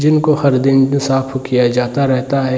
जिनको खरीदेंगे साफ़ उ किया जाता रहता है |